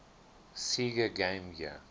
sega game gear